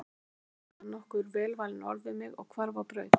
Síðan sagði hann nokkur velvalin orð við mig og hvarf á braut.